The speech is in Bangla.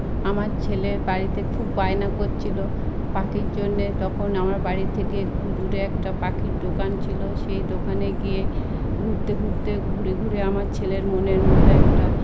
আমার ছেলের বাড়িতে খুব বায়না করছিল পাখির জন্য। তখন আমার বাড়ি থেকে একটু দূরে একটা পাখির দোকান ছিল। সেই দোকানে গিয়ে ঘুরতে ঘুরতে ঘুরে ঘুরে আমার ছেলের মনের মত একটা --